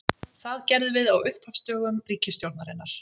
Það gerðum við á upphafsdögum ríkisstjórnarinnar.